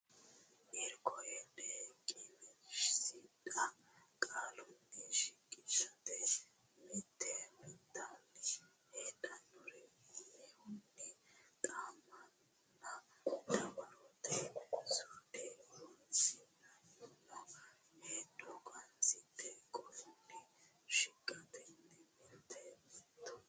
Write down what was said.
Irko Hedo qineessidhe qaalunni shiqishate mitii mitanno heedhuhero umihunni xa monna dawarote suude horonsi ri Irko Hedo qineessidhe qaalunni shiqishate mitii mitanno.